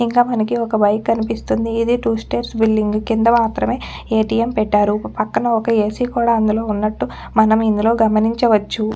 ఇంక మనకి ఒక బైక్ కనిపిస్తుంది ఇది టూ స్టెయిర్స్ బిల్డింగ్ కింద మత్రమే ఎటిఎం పెట్టారు పక్కన ఒక్క ఏసి కూడా అందులో ఉన్నట్లు మనం ఇందులో గమనించచ్చు.